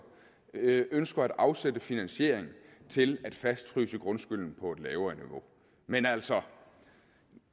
ønsker at afsætte finansiering til at fastfryse grundskylden på et lavere niveau men altså